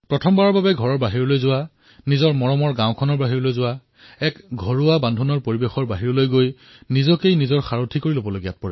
প্ৰথম বাৰলৈ ঘৰৰ পৰা বাহিৰলৈ যোৱা গাঁৱৰ পৰা বাহিৰলৈ যোৱা এক সুৰক্ষিত পৰিৱেশৰ পৰা বাহিৰ ওলাই নিজেকই নিজৰ সাৰথি হিচাপে প্ৰস্তুত কৰে